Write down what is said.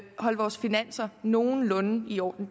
holde vores finanser nogenlunde i orden